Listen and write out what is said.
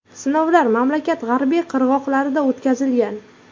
Sinovlar mamlakat g‘arbiy qirg‘oqlarida o‘tkazilgan.